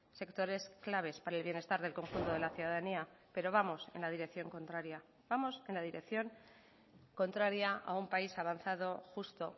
sectores claves para el bienestar del conjunto de la ciudadanía pero vamos en la dirección contraria vamos en la dirección contraria a un país avanzado justo